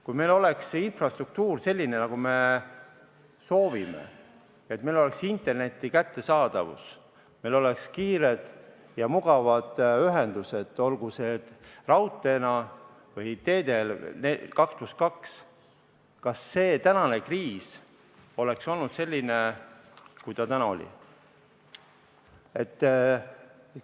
Kui meil oleks infrastruktuur selline, nagu me soovime, meil oleks internet kättesaadav, meil oleksid kiired ja mugavad ühendused, olgu raudtee või 2 + 2 teed, siis kas kriis oleks olnud selline, kui ta on olnud?